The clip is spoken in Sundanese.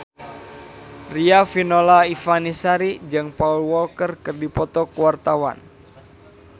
Riafinola Ifani Sari jeung Paul Walker keur dipoto ku wartawan